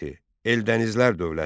Eldənizlər dövləti.